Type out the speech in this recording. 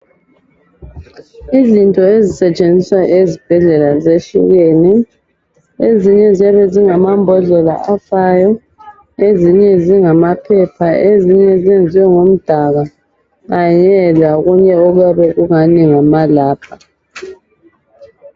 Izinto ezisetshenziswa ezibhedlela zehlukene ezinye ziyabe zingamambodlela afayo ezinye zingamaphepha ezinye zenziwe ngomdaka kanye lokunye okuyabe kungani ngamalabha.